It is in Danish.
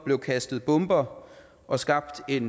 blev kastet bomber og skabt et